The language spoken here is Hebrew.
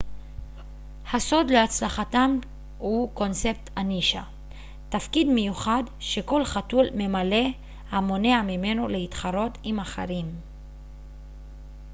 הסוד להצלחתם הוא קונספט הנישה תפקיד מיוחד שכל חתול ממלא המונע ממנו להתחרות עם אחרים